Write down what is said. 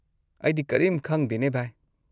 ꯑꯩꯗꯤ ꯀꯔꯤꯝ ꯈꯪꯗꯦꯅꯦ, ꯚꯥꯏ꯫